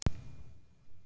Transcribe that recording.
Er byrjað rúlla því eða?